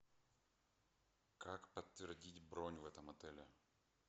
как подтвердить бронь в этом отеле